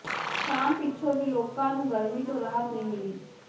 ਸ਼ਾਮ ਪਿੱਛੋਂ ਵੀ ਲੋਕਾਂ ਨੂੰ ਗਰਮੀ ਤੋਂ ਰਾਹਤ ਨਹੀਂ ਮਿਲੀ